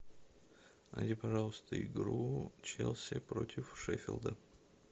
найди пожалуйста игру челси против шеффилда